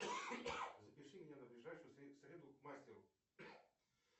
запиши меня на ближайшую среду к мастеру